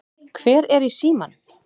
Hver er í símanum?